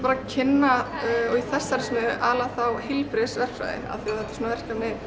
að kynna í þessari smiðju aðallega heilbrigðisverkfræði af því þetta er svona verkefni